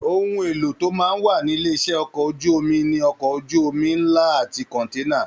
Ohùn èlò tó máa n wà nílé iṣẹ ọkọ̀ ojú omi ní okọ̀ ojú omi nlá àti kọ̀nténà.